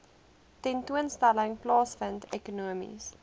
tentoonstelling plaasvind ekonomiese